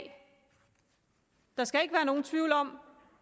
der skal ikke være nogen tvivl om